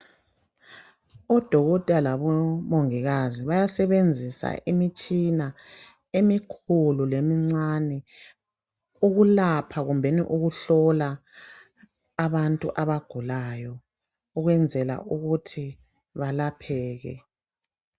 Odokotela labomongikazi bayasebenzisa imitshina emikhulu lemincane ukulapha kumbeni ukuhlola abantu abagulayo ukwenzela ukuthi balapheke.